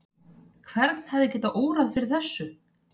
Hvern hefði getað órað fyrir þessu?